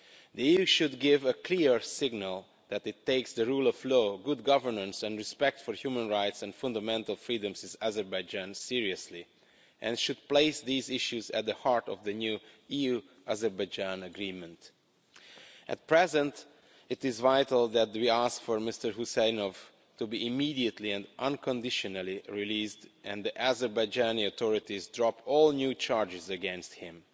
The EU should give a clear signal that it takes the rule of law, good governance and respect for human rights and fundamental freedoms in Azerbaijan seriously and should place these issues at the heart of the new EU-Azerbaijan agreement. At present, it is vital that we ask for Mr Huseynov to be immediately and unconditionally released and that Azerbaijani authorities drop all new charges against him.